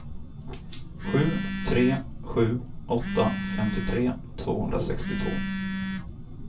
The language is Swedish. sju tre sju åtta femtiotre tvåhundrasextiotvå